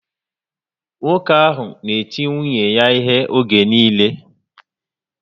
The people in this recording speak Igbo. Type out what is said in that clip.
Nwoke ahụ na eti nwunye ya ihe oge niile